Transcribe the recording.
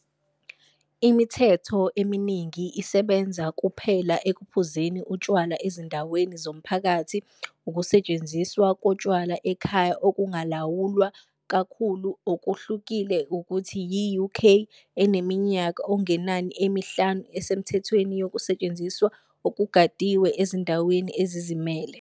Imithetho eminingi isebenza kuphela ekuphuzeni utshwala ezindaweni zomphakathi, ukusetshenziswa kotshwala ekhaya okungalawulwa kakhulu, okuhlukile ukuthi yi-UK, eneminyaka okungenani emihlanu esemthethweni yokusetshenziswa okugadiwe ezindaweni ezizimele.